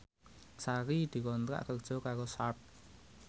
Sari dikontrak kerja karo Sharp